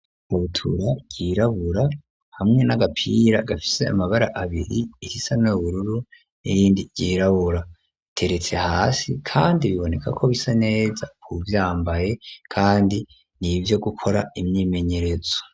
Ibutura ryirabura, hamwe n'agapira gafise amabara abiri irisa n'ubururu n'irindi ryirabura; biteretse hasi kandi biboneka ko bisa neza k'uwuvyambaye, kandi ni ivyo gukora imyimenyerezo.